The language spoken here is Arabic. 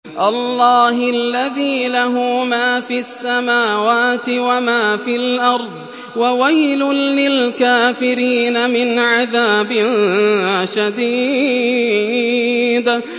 اللَّهِ الَّذِي لَهُ مَا فِي السَّمَاوَاتِ وَمَا فِي الْأَرْضِ ۗ وَوَيْلٌ لِّلْكَافِرِينَ مِنْ عَذَابٍ شَدِيدٍ